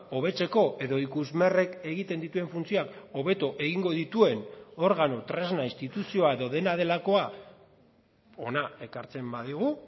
hobetzeko edo ikusmerrek egiten dituen funtzioak hobeto egingo dituen organo tresna instituzioa edo dena delakoa hona ekartzen badigu